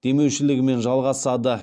демеушілігімен жалғасады